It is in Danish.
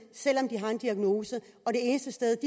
selv om de har en diagnose det eneste sted